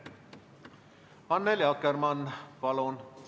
Annely Akkermann, palun!